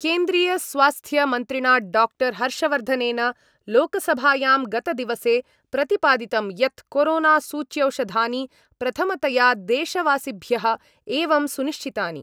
केन्द्रीयस्वास्थ्यमन्त्रिणा doctor हर्षवर्धनेन लोकसभायां गतदिवसे प्रतिपादितं यत् कोरोनासूच्यौषधानि प्रथमतया देशवासिभ्य एवं सुनिश्चितानि।